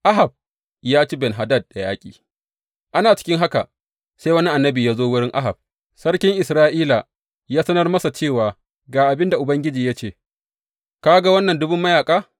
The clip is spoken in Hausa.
Ahab ya ci Ben Hadad da yaƙi Ana cikin haka sai wani annabi ya zo wurin Ahab sarkin Isra’ila ya sanar masa cewa, Ga abin da Ubangiji ya ce, Ka ga wannan ɗumbun mayaƙa?